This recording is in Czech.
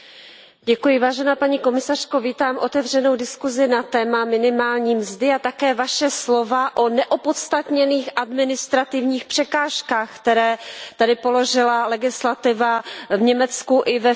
Pane předsedající, paní komisařko, vítám otevřenou diskusi na téma minimální mzdy a také vaše slova o neopodstatněných administrativních překážkách, které tady položila legislativa v Německu i ve Francii.